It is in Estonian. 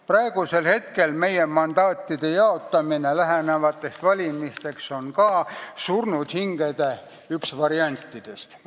Praegu on meie mandaatide jaotamine lähenevateks valimisteks ka üks surnud hingede variantidest.